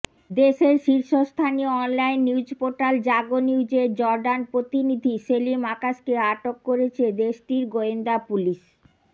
দেশের শীর্ষস্থানীয় online news portal Jago নিউজের জর্ডান প্রতিনিধি সেলিম আকাশকে আটক করেছে দেশটির গোয়েন্দা পুলিশ